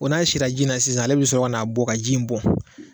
Ko n'a sira ji la sisan ale bɛ sɔrɔ ka n'a bɔ ka ji in bɔn